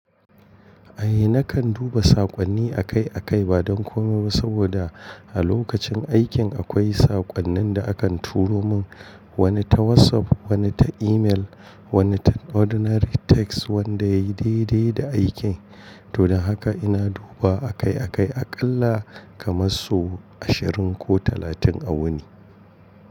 Ai nakan duba saƙonni akai-akai ba don komai ba saboda a lokacin aikin akwai saƙonnin da akan turo mun, wani ta WhatsApp, wani ta email, wani ta ordinary text wanda yayi daidai da aikin. To don haka ina duba akai-akai aƙalla kamar sau ashirin ko talatin a wuni.